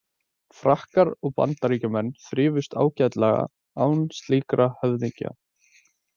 Frakkar og Bandaríkjamenn þrifust ágætlega án slíkra höfðingja.